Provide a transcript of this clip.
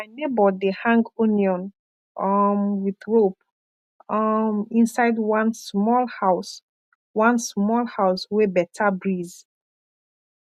my neighbor dey hang onion um with rope um inside one small house one small house wey beta breeze